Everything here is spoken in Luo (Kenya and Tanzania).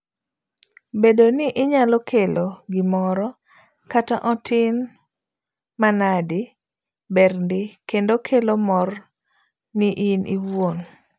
Bedo ni inyalo kelo gimoro, kata otin manadi, ber ndii kendo kelo mor ni in iwuon.